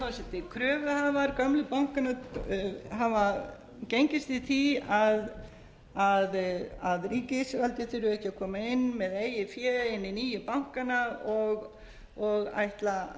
kröfuhafar bankanna hafa gengist við því að ríkisvaldið þurfi ekki að koma með eigið fé inn í nýju bankana og ætla að